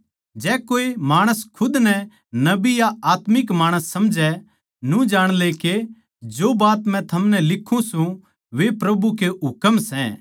जै कोए माणस खुद नै नबी या आत्मिक माणस समझै तो न्यू जाण ले के जो बात मै थमनै लिखूँ सूं वे प्रभु के हुकम सै